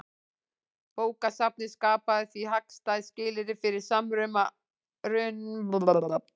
Bókasafnið skapaði því hagstæð skilyrði fyrir samruna austrænnar og vestrænnar menningar.